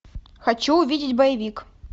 хочу увидеть боевик